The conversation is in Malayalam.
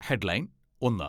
ഹെഡ്ലൈൻ ഒന്ന്